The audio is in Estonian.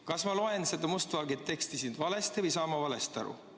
Kas ma loen seda must valgel siin olevat teksti valesti või saan ma valesti aru?